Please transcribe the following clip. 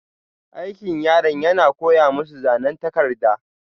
Aikin yaran yana koya masu zanan takarda.